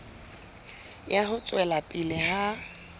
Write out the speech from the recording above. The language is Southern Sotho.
ya ho tswela pele ha